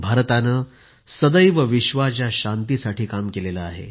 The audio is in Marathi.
भारताने सदैव विश्वाच्या शांतीसाठी काम केले आहे